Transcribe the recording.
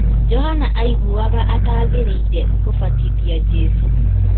Johana aiguaga ataagĩrĩire gũbatithia Jesũ